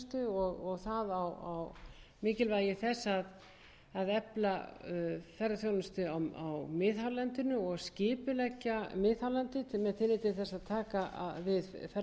ferðaþjónustu og mikilvægi þess að efla ferðaþjónustu á miðhálendinu og skipuleggja miðhálendið með tilliti til þess að taka við ferðamönnum og lögð sérstök